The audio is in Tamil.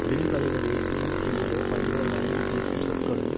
வில் வளைவது தீமை செய்யவே பகைவர் வணங்கிப் பேசும் சொற்களும்